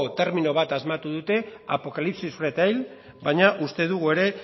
termino bat asmatu dute apocalipsis retail baina uste dugu ere